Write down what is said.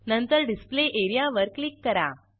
नंतर display area वर click करा